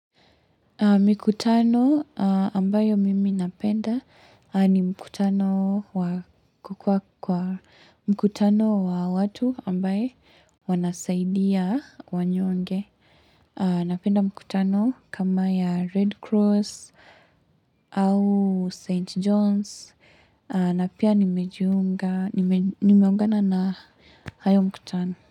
Mikutano ambayo mimi napenda ni mkutano wa kukua kwa mkutano wa watu ambayo wanasaidia wanyonge. Napenda mkutano kama ya Red Cross au St. John's na pia nimeungana na hayo mkutano.